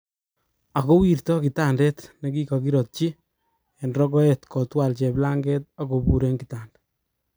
Ako wirta kitandet nekikokirotyi eng rokoet kotwal cheplanget okobur eng kitanda.